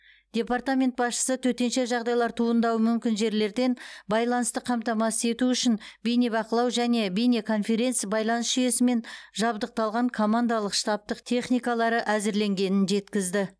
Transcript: департамент басшысы төтенше жағдайлар туындауы мүмкін жерлерден байланысты қамтамасыз ету үшін бейнебақылау және бейнеконференц байланыс жүйесімен жабдықталған командалық штабтық техникалары әзірленгенін жеткізді